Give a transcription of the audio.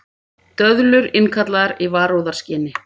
Döðlur innkallaðar í varúðarskyni